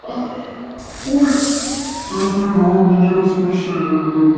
у меня рассмешил